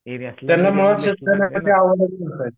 हे असले